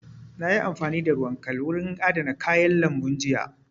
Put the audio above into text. Na yi amfani da ruwan kal wurin adana kayan lambun jiya